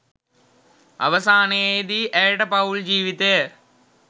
අවසානයේදී ඇයට පවුල් ජීවිතය